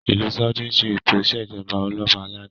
ilù Saudi ṣe eto ìṣèjọba Ọlọba aládé